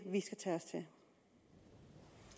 det